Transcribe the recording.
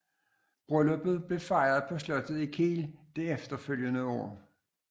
Brylluppet blev fejret på slottet i Kiel det efterfølgende år